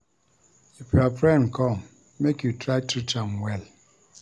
If your friend come, make you try treat am well.